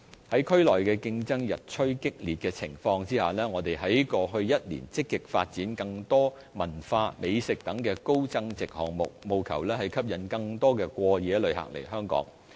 在區內競爭日趨激烈的情況下，我們在過去一年積極發展更多文化、美食等高增值項目，務求吸引更多過夜旅客來香港。